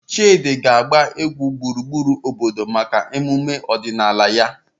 Chidi na-agba egwu gburugburu obodo maka emume omenala ya.